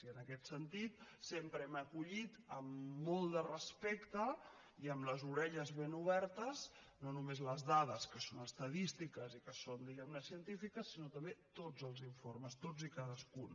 i en aquest sentit sempre hem acollit amb molt de respecte i amb les orelles ben obertes no només les dades que són estadístiques i que són diguemne científiques sinó també tots els informes tots i cadascun